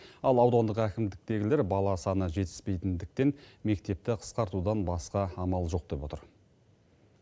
ал аудандық әкімдіктегілер бала саны жетіспейтіндіктен мектепті қысқартудан басқа амал жоқ деп отыр